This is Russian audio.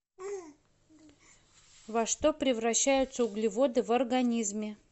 во что превращаются углеводы в организме